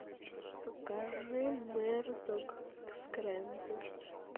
покажи мэрдок скрэмбл